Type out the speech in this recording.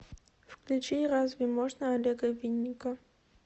включи разве можно олега винника